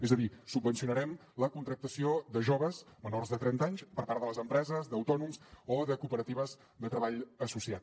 és a dir subvencionarem la contractació de joves menors de trenta anys per part de les empreses d’autònoms o de cooperatives de treball associat